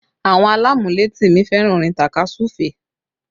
Àwọn alamuleti mi fẹ́ràn orin takasufe